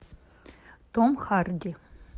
том харди